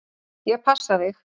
Ég passa þig.